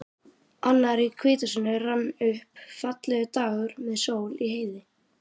Annar í hvítasunnu rann upp, fallegur dagur með sól í heiði.